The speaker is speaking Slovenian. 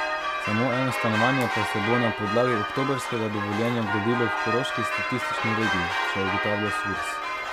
Samo eno stanovanje pa se bo na podlagi oktobrskega dovoljenja gradilo v koroški statistični regiji, še ugotavlja Surs.